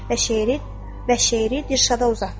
Və şeiri Dilşada uzatdı.